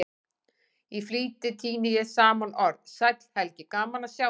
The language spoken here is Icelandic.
Í flýti tíni ég saman orð: Sæll Helgi, gaman að sjá þig